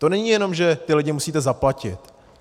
To není jenom, že ty lidi musíte zaplatit.